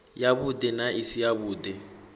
yavhuḓi na i si yavhuḓi